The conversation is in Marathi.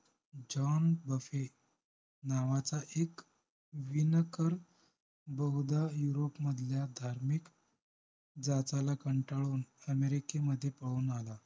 जॉन बफेट नावाचा एक विणकर बहुदा यूरोप मधल्या धार्मिक जाचाला कंटाळून अमेरिकेमध्ये पळून आला